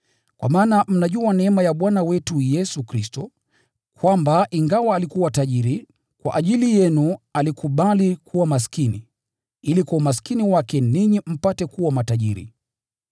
Kwa maana mnajua neema ya Bwana wetu Yesu Kristo, kwamba ingawa alikuwa tajiri, kwa ajili yenu alikubali kuwa maskini, ili kwa umaskini wake ninyi mpate kuwa matajiri.